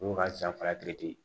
O y'o ka san fila